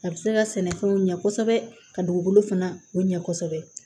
A bɛ se ka sɛnɛfɛnw ɲɛ kosɛbɛ ka dugukolo fana ɲɛ kosɛbɛ